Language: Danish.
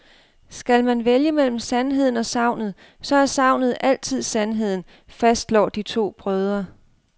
Skal man vælge mellem sandheden og sagnet, så er sagnet altid sandheden, fastslår de to brødre.